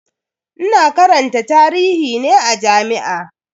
Ina karanta tarihi ne a jami'a.